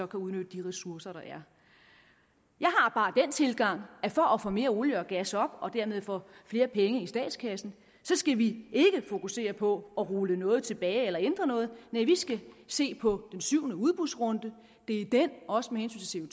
kan udnytte de ressourcer der er jeg har bare den tilgang at for at få mere olie og gas op og dermed få flere penge i statskassen skal vi ikke fokusere på at rulle noget tilbage eller ændre noget nej vi skal se på den syvende udbudsrunde det er i den også med hensyn